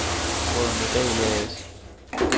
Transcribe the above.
Brødrene Dahl A/S